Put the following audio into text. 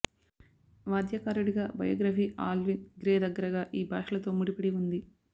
వాద్యకారుడిగా biography Alvin Grey దగ్గరగా ఈ భాషలతో ముడిపడి ఉంది